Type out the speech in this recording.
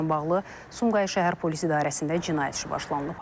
Faktla bağlı Sumqayıt şəhər Polis İdarəsində cinayət işi başlanılıb.